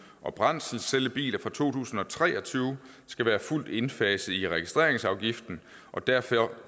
og brændselscellebiler fra to tusind og tre og tyve skal være fuldt indfaset i registreringsafgiften og derfor